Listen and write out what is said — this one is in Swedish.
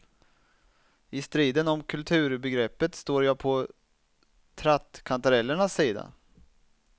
I striden om kulturbegreppet står jag på trattkantarellernas sida.